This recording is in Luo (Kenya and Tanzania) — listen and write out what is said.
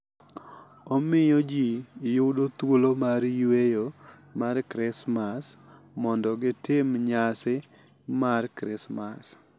Omiyo ji yudo thuolo mar yweyo mar Krismas mondo gitim nyasi mar Krismas.